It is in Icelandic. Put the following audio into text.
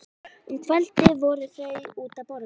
Um kvöldið fóru þau út að borða.